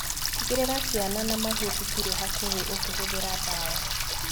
Tigĩrĩra ciana na mahiũ citirĩ hakuhĩ ũkĩhũthĩra ndawa.